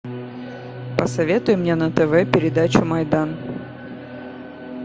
посоветуй мне на тв передачу майдан